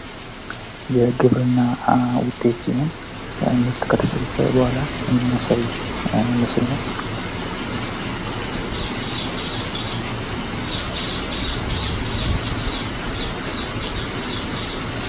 የግብርና ዉጤት ሲሆን ምርት ከተሰበሰበ ቡሃላ የሚያሳይ ምስል ነው።